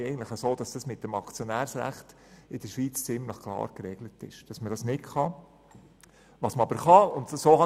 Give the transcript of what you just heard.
In der Schweiz regelt das Aktionärsrecht ziemlich klar, dass man sich nicht einmischen darf.